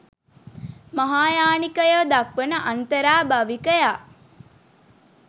මහායානිකයෝ දක්වන අන්තරාභවිකයා